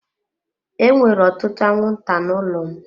Enwere ọtụtụ anwụnta n'ụlọ m.